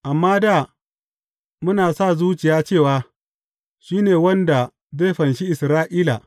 Amma da, muna sa zuciya cewa, shi ne wanda zai fanshi Isra’ila.